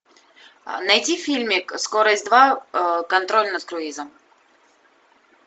найди фильмик скорость два контроль над круизом